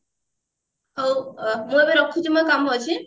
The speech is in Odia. ହଉ ମୁଁ ଏବେ ରଖୁଛି ମୋର କାମ ଅଛି